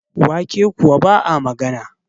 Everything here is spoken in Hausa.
wake kuwa ba a magana